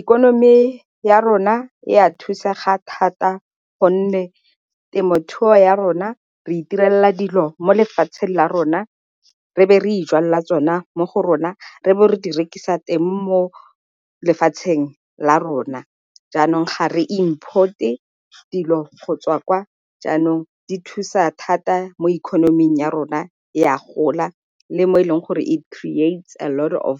Ikonomi ya rona e a thusa ga thata gonne temothuo ya rona re iterela dilo mo lefatsheng la rona re be re ijwalela tsona mo go rona re bo re di rekisa teng mo lefatsheng la rona, jaanong ga re import-e dilo go tswa kwa. Jaanong di thusa thata mo ikonoming ya rona e a gola, le mo e leng gore it creates a lot of